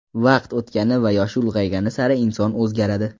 Vaqt o‘tgani va yoshi ulg‘aygani sari inson o‘zgaradi.